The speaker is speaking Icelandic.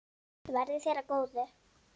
Verði þér að góðu.